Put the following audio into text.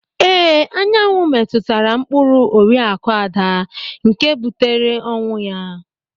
Ìhè anyanwụ metụtara mkpụrụ Oriakụ Ada nke butere ọnwụ ya.